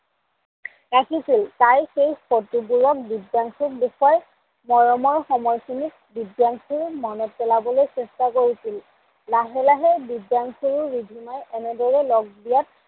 ৰাখিছিল। তাই সেই ফটোবোৰ দিব্যাংসুক দেখোৱাই মৰমৰ সময়খিনি দিব্যাংসুক মনত পেলাবলৈ চেষ্টা কৰিছিল। লাহে লাহে দিব্যাংসুয়েও ৰিধিমাৰ এনেদৰে লগ দিলত